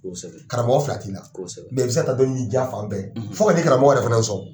kosɛbɛ karamɔgɔ fila tɛ n na kosɛbɛ i bɛ se ka taa dɔni ɲini jiyɛn fan bɛɛ fo ka na i karamɔgɔ yɛrɛ fana sɔn.